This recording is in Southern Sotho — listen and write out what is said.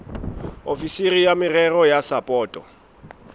ofisiri ya merero ya sapoto